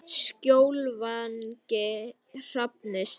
Skjólvangi Hrafnistu